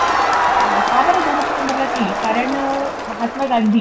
का बरं दोन ऑक्टोबरला केली? कारण, महात्मा गांधी